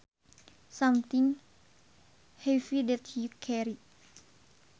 Something heavy that you carry